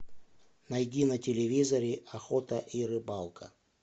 найди на телевизоре охота и рыбалка